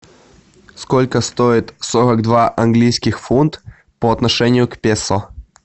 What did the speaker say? сколько стоит сорок два английских фунт по отношению к песо